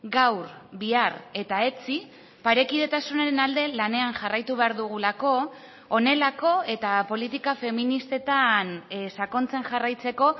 gaur bihar eta etzi parekidetasunaren alde lanean jarraitu behar dugulako honelako eta politika feministetan sakontzen jarraitzeko